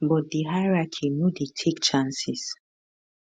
but di hierarchy no dey take chances